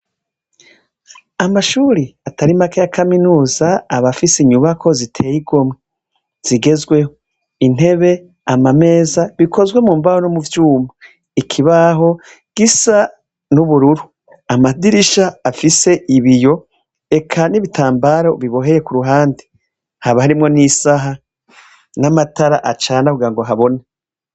Amashure atari make ya kaminuza aba, afise inyubakwa ziteye igomwe, zigezweho, intebe, amameza, bikozwe mumbaho, nivyuma, ikibaho gisa nubururu, amadirisha afise ibiyo, eka nibitambaro biboheye kuruhande, haba harimwo nisaha, namatara acane kugirango habone.